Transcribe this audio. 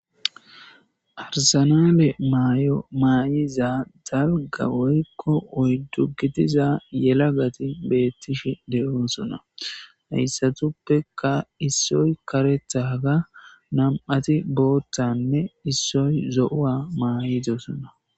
Arsanale maayo maa7iza dalga woykko oyddu gidiza yelagati beettish de7oosona heyssatuppeka issoy karethaga nam7ati boothanne issoy zo7owa maayidosona.